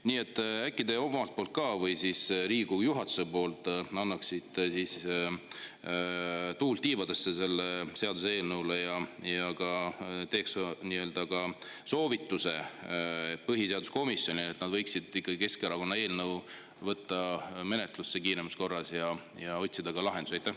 Nii et äkki te omalt poolt või siis Riigikogu juhatuse poolt annaksite ka tuult tiibadesse sellele seaduseelnõule ja soovituse ka põhiseaduskomisjonile, et nad võiksid Keskerakonna eelnõu kiiremas korras menetlusse võtta ja lahendusi otsida.